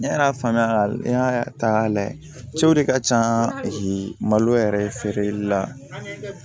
Ne yɛrɛ y'a faamuya n y'a ta k'a lajɛ cɛw de ka can malo yɛrɛ ye feereli la